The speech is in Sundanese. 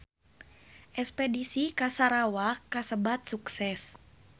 Espedisi ka Sarawak kasebat sukses